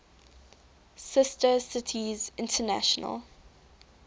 sister cities international